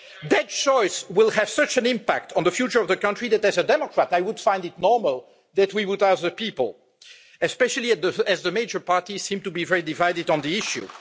That choice will have such an impact on the future of the country that as a Democrat I would find it normal that we would ask the people, especially as the major parties seem to be very divided on the issue.